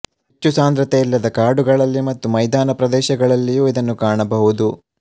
ಹೆಚ್ಚು ಸಾಂದ್ರತೆ ಇಲ್ಲದ ಕಾಡುಗಳಲ್ಲಿ ಮತ್ತು ಮೈದಾನ ಪ್ರದೇಶಗಳಲ್ಲಿಯೂ ಇದನ್ನು ಕಾಣಬಹುದು